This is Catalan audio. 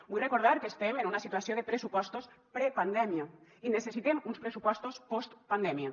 vull recordar que estem en una situació de pressupostos prepandèmia i necessitem uns pressupostos postpandèmia